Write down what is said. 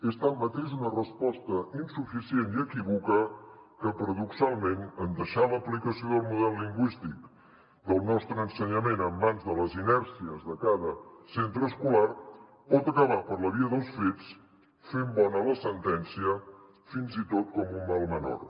és tanmateix una resposta insuficient i equívoca que paradoxalment en deixar l’aplicació del model lingüístic del nostre ensenyament en mans de les inèrcies de cada centre escolar pot acabar per la via dels fets fent bona la sentència fins i tot com un mal menor